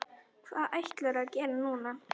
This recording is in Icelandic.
Hvað ætlarðu að gera núna?